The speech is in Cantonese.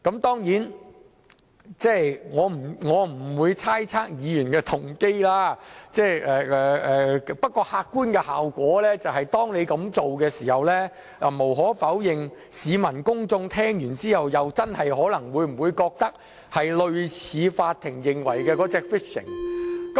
當然，我不會猜測議員的動機，不過客觀的效果是，當議員這樣做時，無可否認市民公眾聽到後，真的可能會認為，這做法是類似法庭所指的 "fishing" 行為。